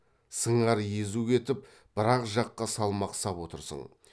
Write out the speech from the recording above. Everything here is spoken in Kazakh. сыңар езу кетіп бір ақ жаққа салмақ сап отырсың